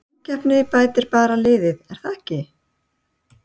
Samkeppnin bætir bara liðið er það ekki?